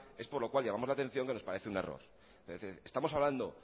es por lo cual llamamos la atención que nos parece un error es decir estamos hablando